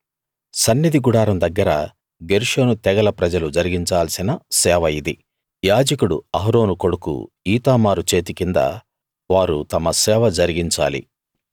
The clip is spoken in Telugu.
సన్నిధి గుడారం దగ్గర గెర్షోను తెగల ప్రజలు జరిగించాల్సిన సేవ ఇది యాజకుడు అహరోను కొడుకు ఈతామారు చేతి కింద వారు తమ సేవ జరిగించాలి